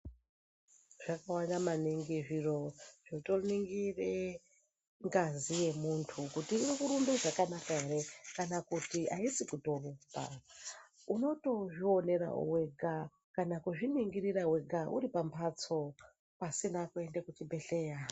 Zvakawanda maningi zviro zvotoningire ngazi yemuntu kuti irikurumbe zvakanaka ere. Kana kuti haisi kutorumba unotozvionera vega kana kuzviningirira vega uri pamhatso, pasina kuende kuchibhedhleya.